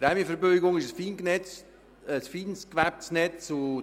Die Prämienverbilligungen, das ist ein fein gewebtes Netz.